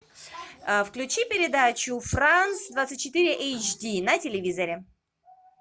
включи передачу франс двадцать четыре эйч ди на телевизоре